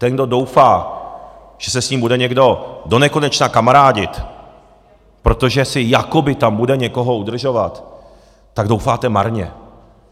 Ten, kdo doufá, že se s ním bude někdo donekonečna kamarádit, protože si jakoby tam bude někoho udržovat, tak doufáte marně.